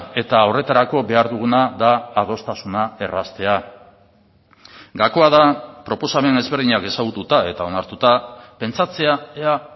eta horretarako behar duguna da adostasuna erraztea gakoa da proposamen ezberdinak ezagututa eta onartuta pentsatzea ea